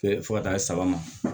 fo ka taa saba ma